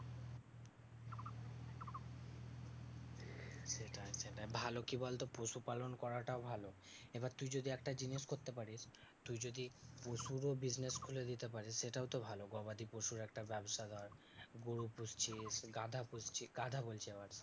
সেটাই সেটাই ভালো কি বলতো? পশুপালন করাটাও ভালো এবার তুই যদি একটা জিনিস করতে পারিস, তুই যদি পশুরও business খুলে দিতে পারিস। সেটাও তো ভালো গবাদি পশুর একটা ব্যবসা ধর। গরু পুষছিস গাধা পুষছিস বাধা বলসি আবার